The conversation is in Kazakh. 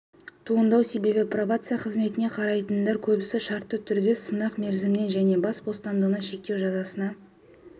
туындау себебі пробация қызметіне қарайтындардың көбісі шартты түрде сынақ мерзіміне және бас бостандығын шектеу жазасына